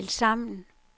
tilsammen